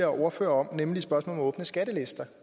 ordfører om nemlig spørgsmålet om åbne skattelister